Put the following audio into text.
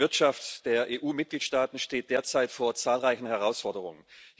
Die Wirtschaft der EU Mitgliedstaaten steht derzeit vor zahlreichen Herausforderungen.